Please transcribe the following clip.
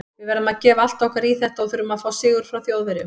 Við verðum að gefa allt okkar í þetta og þurfum að fá sigur frá Þjóðverjum.